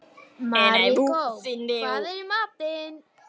Maríkó, hvað er í matinn?